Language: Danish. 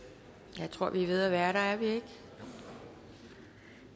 jeg tror vi er ved at være der er vi ikke